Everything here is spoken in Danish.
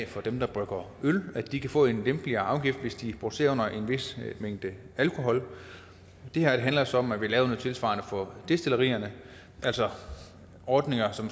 for dem der brygger øl at de kan få en lempeligere afgift hvis de producerer under en vis mængde alkohol det her handler så om at vi laver noget tilsvarende for destillerierne altså ordninger som